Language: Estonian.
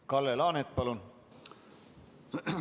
Kalle Laanet, palun!